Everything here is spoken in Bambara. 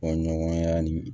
Fɔ ɲɔgɔnya ni